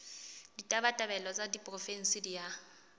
ditabatabelo tsa diporofensi di a